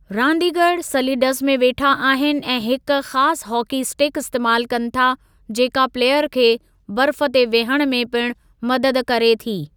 रांदीगरु सलीडज़ में वेठा आहिनि ऐं हिक ख़ासि हॉकी इस्टिक इस्तेमालु कनि था जेका प्लेयर खे बर्फ़ ते विहणु में पिण मदद करे थी।